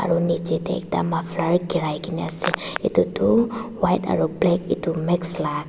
aru nichae tae ekta maflar girai kaena ase edu tu white aro black edu mix la--